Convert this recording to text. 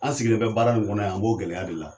An sigilen bɛ baara min kɔnɔ yan n b'o gɛlɛya de la.